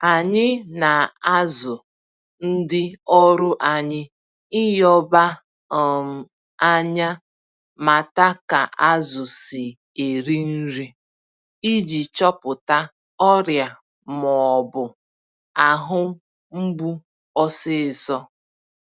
Anyị na-azụ ndị ọrụ anyị ịnyoba um ányá mata ka azụ si eri nri, iji chọpụta ọrịa m'ọbụ ahụ mgbu ọsịsọ.